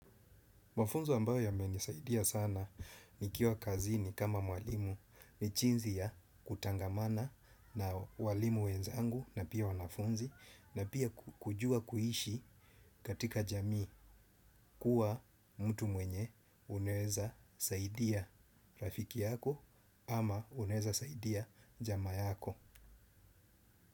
Mafunzo ambayo yame nisaidia sana ni kiwa kazini kama mwalimu ni chinzi ya kutangamana na walimu wenzangu na pia wanafunzi na pia kujua kuhishi katika jamii kuwa mtu mwenye unaweza saidia rafiki yako ama unaweza saidia jama yako.